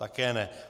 Také ne.